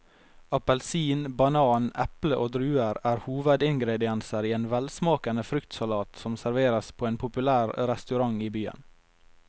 Appelsin, banan, eple og druer er hovedingredienser i en velsmakende fruktsalat som serveres på en populær restaurant i byen.